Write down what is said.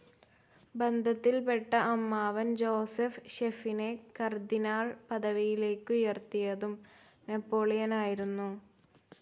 ബന്ധത്തിൽപെട്ട അമ്മാവൻ ജോസെഫ് ഫെഷിനെ കാർഡിനൽ പദവിയിലേക്കുയർത്തിയതും നെപോളിയനായിരുന്നു.